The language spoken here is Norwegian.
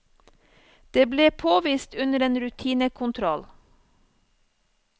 Det ble påvist under en rutinekontroll.